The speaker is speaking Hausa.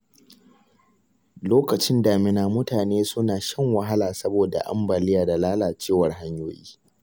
Lokacin damina, mutane suna shan wahala saboda ambaliya da lalacewar hanyoyi.